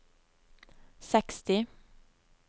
seksti